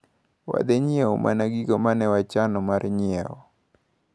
Wadhi nyiewo mana gigo manewachano mar nyiewo.